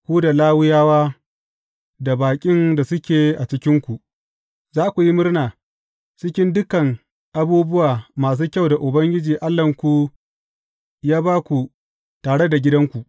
Ku da Lawiyawa da baƙin da suke a cikinku, za ku yi murna cikin dukan abubuwa masu kyau da Ubangiji Allahnku ya ba ku tare da gidanku.